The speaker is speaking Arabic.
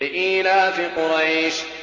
لِإِيلَافِ قُرَيْشٍ